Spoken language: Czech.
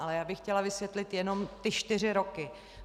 Ale já bych chtěla vysvětlit jenom ty čtyři roky.